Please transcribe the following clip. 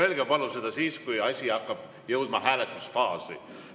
Öelge palun seda siis, kui asi hakkab jõudma hääletusfaasi.